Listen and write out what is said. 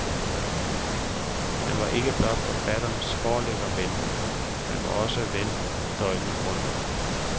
Han var ikke blot forfatternes forlæggerven, han var også deres ven døgnet rundt.